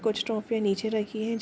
कुछ ट्रॉफ़ीयाँ नीचे रखी हैं जो --